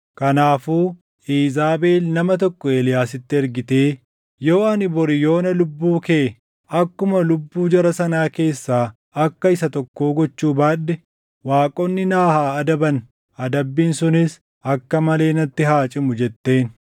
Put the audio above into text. Kanaafuu Iizaabel nama tokko Eeliyaasitti ergitee, “Yoo ani bori yoona lubbuu kee akkuma lubbuu jara sanaa keessaa akka isa tokkoo gochuu baadhe waaqonni na haa adaban; adabbiin sunis akka malee natti haa cimu” jetteen.